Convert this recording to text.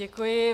Děkuji.